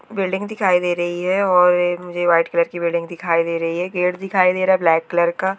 building दिखाई दे रही है और ए मुझे व्हाइट कलर की बिल्डिंग दिखाई दे रही है गेट दिखाई दे रहा है ब्लैक कलर का--